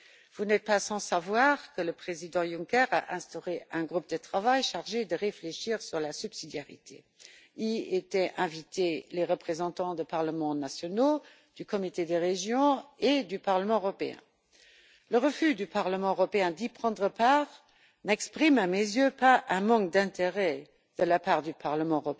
Vous n'êtes pas sans savoir que le président Juncker a instauré un groupe de travail chargé de réfléchir sur la subsidiarité, auquel étaient invités les représentants des parlements nationaux, du Comité des régions et du Parlement européen. Le refus du Parlement européen d'y prendre part n'exprime pas à mes yeux un manque d'intérêt de la part de notre Parlement,